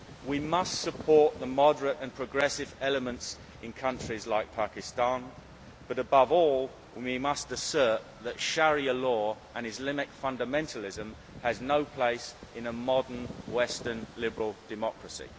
We must support the moderate and progressive elements in countries like Pakistan, but above all, we must assert that Sharia law and Islamic fundamentalism have no place in a modern, Western, liberal democracy.